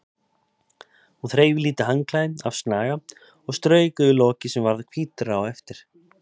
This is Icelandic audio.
Hún þreif lítið handklæði af snaga og strauk yfir lokið sem varð hvítara á eftir.